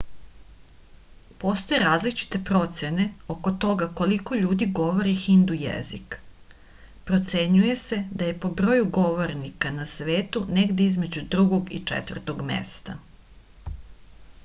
postoje različite procene oko toga koliko ljudi govori hindu jezik procenjuje se da je po broju govornika na svetu negde između drugog i četvrtog mesta